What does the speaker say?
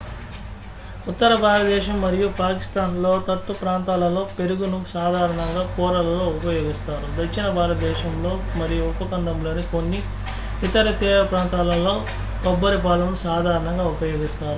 ఉత్తర భారతదేశం మరియు పాకిస్తాన్ లోతట్టు ప్రాంతాలలో పెరుగును సాధారణంగా కూరలలో ఉపయోగిస్తారు దక్షిణ భారతదేశంలో మరియు ఉపఖండంలోని కొన్ని ఇతర తీర ప్రాంతాలలో కొబ్బరి పాలను సాధారణంగా ఉపయోగిస్తారు